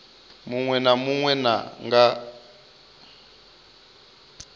munwe na munwe na nga